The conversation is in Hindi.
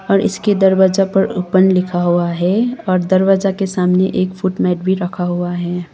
और इसके दरवाजा पर ओपन लिखा हुआ है और दरवाजा के सामने एक फुट मैट भी रखा हुआ है।